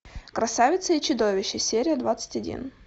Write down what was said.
красавица и чудовище серия двадцать один